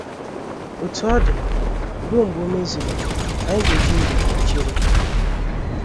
Otú ọ dị, ruo mgbe o mezuru, anyị ga - eji ndidi chere.